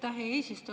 Aitäh, hea eesistuja!